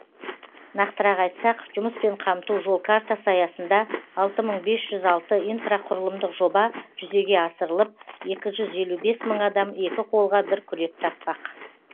нақтырақ айтсақ жұмыспен қамту жол картасы аясында алты мың бес жүз алты инфрақұрылымдық жоба жүзеге асырылып екі жүз елу бес мың адам екі қолға бір күрек таппақ